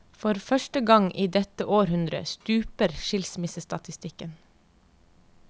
For første gang i dette århundre stuper skilsmissestatistikken.